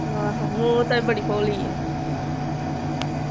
ਆਹੋ ਉਹ ਤੇ ਬੜੀ ਭੋਲੀ ਆ